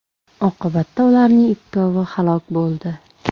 Oqibatda ularning ikkalovi halok bo‘ldi.